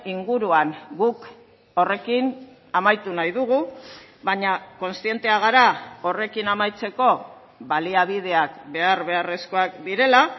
inguruan guk horrekin amaitu nahi dugu baina kontzienteak gara horrekin amaitzeko baliabideak behar beharrezkoak direla